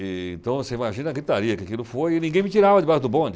Então, assim, imagina a gritaria que aquilo foi e ninguém me tirava debaixo do bonde.